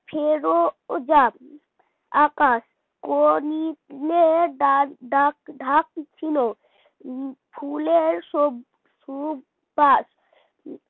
ফিরোজা আকাশ কোকিলের ডাক ডাক ডাকছিল ফুলের সব সুবাস